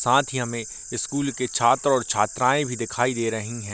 साथ ही हमें स्कूल के छात्र-छात्रायें भी दिखाई दे रही हैं।